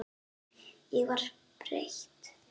Ég var breytt.